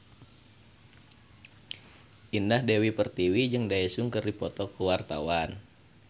Indah Dewi Pertiwi jeung Daesung keur dipoto ku wartawan